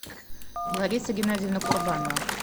лариса геннадьевна курбанова